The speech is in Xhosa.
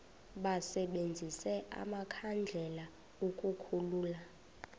basebenzise amakhandlela ukukhulula